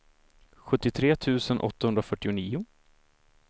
sjuttiotre tusen åttahundrafyrtionio